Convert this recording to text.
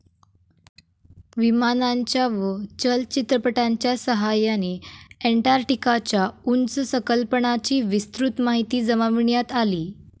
विमानांच्या व चलचित्रपटांच्या सहाय्याने अंटार्क्टिकाच्या उंच सकलपणाची विस्तृत माहिती जमविण्यात आली.